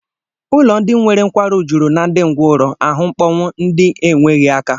Ụlọ ndị nwere nkwarụ juru na ndị ngwọrọ, ahụ mkpọnwụ, ndị enweghị aka